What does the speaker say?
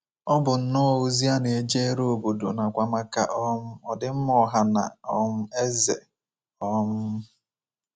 Ọ bụ nnọọ ozi a na-ejere obodo nakwa maka um ọdịmma ọha na um eze. um